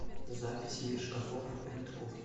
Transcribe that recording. запись мир шкафов энд кухни